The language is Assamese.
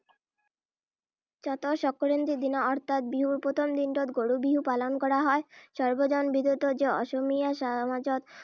চ’তৰ সংক্ৰান্তিৰ দিনা অৰ্থাৎ বিহুৰ প্ৰথম দিনটোত গৰু বিহু পালন কৰা হয়। সৰ্বজনবিদিত যে, অসমীয়া সমাজত